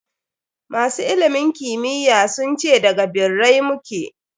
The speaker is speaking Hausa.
Masu ilimin kimiyy sun ce da g birrai mu ke.